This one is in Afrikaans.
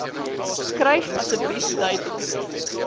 skryf asseblief duidelik